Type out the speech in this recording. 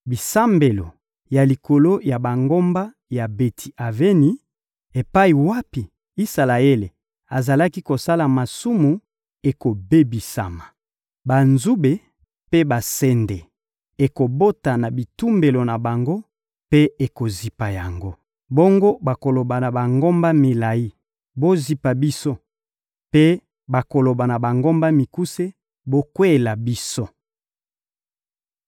Bisambelo ya likolo ya bangomba ya Beti-Aveni epai wapi Isalaele azalaki kosala masumu ekobebisama. Banzube mpe basende ekobota na bitumbelo na bango mpe ekozipa yango. Bongo bakoloba na bangomba milayi: «Bozipa biso!» Mpe bakoloba na bangomba mikuse: «Bokweyela biso!»